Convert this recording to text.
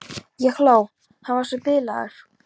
Ég hló, hann var svo bilaður.